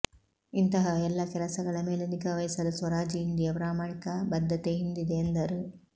ಇಂತಹ ಎಲ್ಲ ಕೆಲಸಗಳ ಮೇಲೆ ನಿಗಾವಹಿಸಲು ಸ್ವರಾಜ್ ಇಂಡಿಯಾ ಪ್ರಾಮಾಣಿಕ ಬದ್ಧತೆ ಹಿಂದಿದೆ ಎಂದರು